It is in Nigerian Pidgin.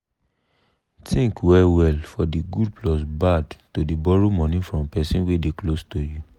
think well well for de good plus bad to dey borrow money from person wey dey close to you.